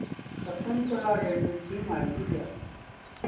Shakuntala railway ची माहिती द्या